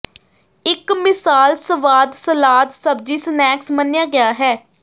ਇਕ ਮਿਸਾਲ ਸਵਾਦ ਸਲਾਦ ਸਬਜ਼ੀ ਸਨੈਕਸ ਮੰਨਿਆ ਗਿਆ ਹੈ